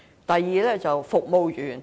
第二，做服務員。